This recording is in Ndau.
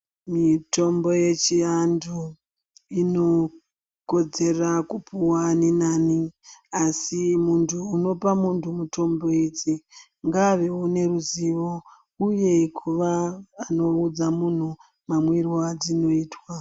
Mitombo yechiantu inokodzera kupuwa ani nani asi muntu unopa muntu mitombo idzi ngaavewo neruzivo uye kuvaanoudza muntu mamwirwo adzinoitwa.